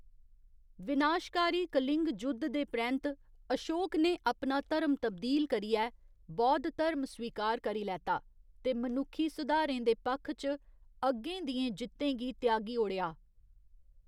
विनाशकारी कलिंग जुद्ध दे परैंत्त अशोक ने अपना धर्म तब्दील करियै बौद्ध धर्म स्वीकार करी लैता, ते मनुक्खी सुधारें दे पक्ख च अग्गें दियें जित्तें गी त्यागी ओड़ेआ।